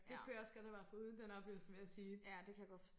Det kunne jeg også godt have været foruden den oplevelse vil jeg sige